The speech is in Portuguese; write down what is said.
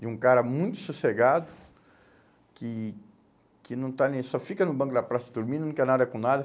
De um cara muito sossegado, que que não está nem aí, só fica no banco da praça dormindo, não quer nada com nada.